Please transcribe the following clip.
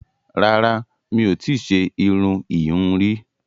Rárá, mi ò tí ṣe irun ìhun rí